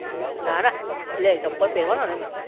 ના ના ચંપલ લે ચંપલ પેરવા ના એમ